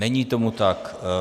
Není tomu tak.